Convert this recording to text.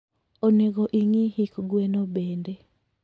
Onego ingii hik gweno bende